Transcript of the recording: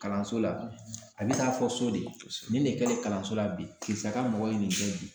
Kalanso la a bɛ taa fɔ so de ye nin de kɛlen bi sa ka mɔgɔ ye nin kɛ bi